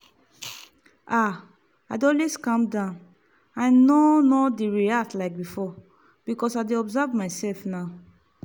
ah i dey always calm down i no no dey react like before because i dey observe my self now.